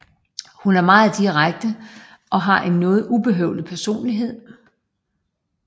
Hun er meget direkte og har en noget ubehøvlet personlighed